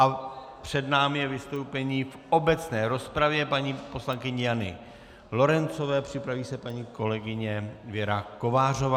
A před námi je vystoupení v obecné rozpravě paní poslankyně Jany Lorencové, připraví se paní kolegyně Věra Kovářová.